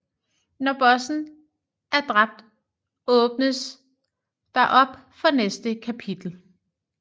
Når bossen er dræbt åbnes der op for næste kapitel